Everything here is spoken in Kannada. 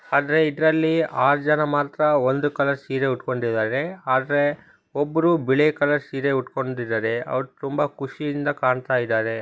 ಆದ್ರೆ ಇದ್ರಲ್ಲಿ ಆರ್ ಜನ ಮಾತ್ರ ಒಂದು ಕಲರ್ ಸೀರೆ ಉಟ್ಟಕೊಂಡಿದ್ದಾರೆ ಆದ್ರೆ ಒಬ್ರು ಬಿಲೆ ಕಲರ್ ಸೀರೆ ಉಟ್ಟಕೊಂಡಿದ್ದಾರೆ. ತುಂಬಾ ಖುಷಿ ಇಂದ ಕಾಣತಾ ಇದ್ದಾರೆ.